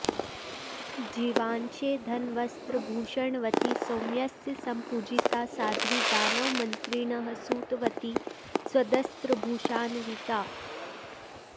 जीवांशे धनवस्त्रभूषणवती सौम्यस्य सम्पूजिता साध्वी दानवमन्त्रिणः सुतवती सद्वस्त्रभूषान्विता